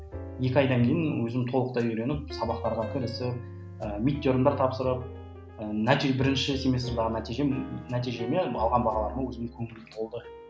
екі айдан кейін өзім толықтай үйреніп сабақтарға кірісіп ы тапсырып ы бірінші семестрдегі нәтижем нәтижелеріме алған бағаларыма өзім көңілім толды